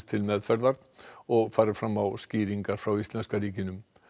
til meðferðar og farið fram á skýringar frá íslenska ríkinu